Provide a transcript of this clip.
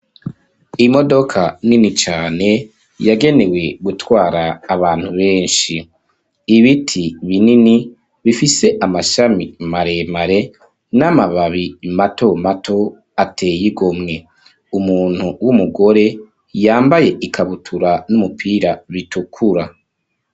Imodoka, nini cane, yagenewe gutwara abantu benshi .Ibiti binini, bifise Amashami maremare, n'amababi mato mato, ateye igomwe, Umuntu w'Umugore yambaye ikabutura n'Umupira bitukura.